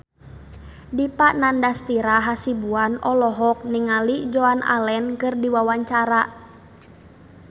Dipa Nandastyra Hasibuan olohok ningali Joan Allen keur diwawancara